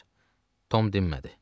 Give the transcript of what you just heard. Tom dinmədi.